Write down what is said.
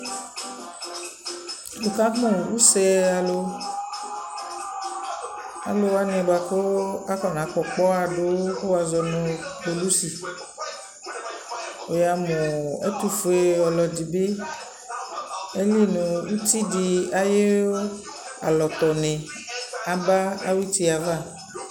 Nι ka mʋ use alʋ, alʋ wanι bʋa kʋ akɔna kpɔ ɔkpɔɣa dʋ wʋ kʋ wazɔ nʋ kpolusi Wʋ ya mʋ ɛtʋfue ɔlʋ ɛdι bι, ayili nʋ uti dι ayʋ alɔtɔnι aba awʋ uti yɛ ava